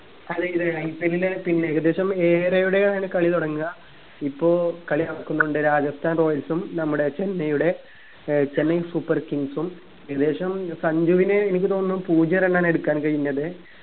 കളിയുണ്ട് IPL ൽ പിന്നെ ഏകദേശം ഏഴരയോടെ ആണ് കളി തുടങ്ങ ഇപ്പൊ കളി നടക്കുന്നുണ്ട് രാജസ്ഥാൻ royals ഉം നമ്മുടെ ചെന്നൈയുടെ ഏർ ചെന്നൈ super kings ഉം ഏകദേശം സഞ്ജുവിന് എനിക്ക് തോന്നുന്നു പൂജ്യം run ആണ് എടുക്കാൻ കഴിഞ്ഞത്